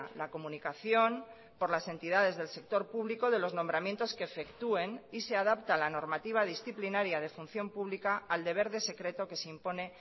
la comunicación por las entidades del sector público de los nombramientos que efectúen y se adapta a la normativa disciplinaria de función pública al deber de secreto que se impone